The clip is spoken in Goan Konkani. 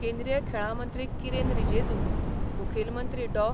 केंद्रीय खेळां मंत्री किरेन रिजेजू, मुखेल मंत्री डॉ.